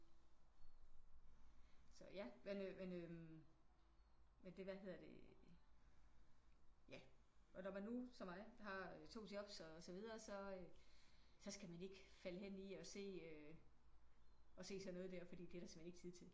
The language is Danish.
Så ja men øh men øh med det hvad hedder det øh ja og når man nu som mig har 2 jobs og så videre så så skal man ikke falde hen i og se øh at se sådan noget der fordi det er der simpelthen ikke tid til